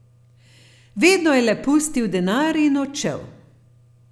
Vedno je le pustil denar in odšel.